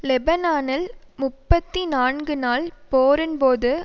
லெபனானில் முப்பத்தி நான்கு நாள் போரின்போது